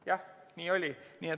Jah, nii oli.